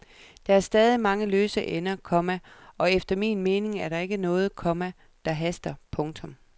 Der er stadig mange løse ender, komma og efter min mening er der ikke noget, komma der haster. punktum